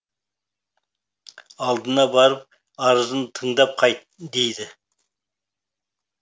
алдына барып арызын тыңдап қайт дейді